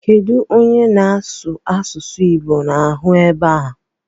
Kedụ onye na-asụ asụsụ Igbo ahụ ebe ahụ?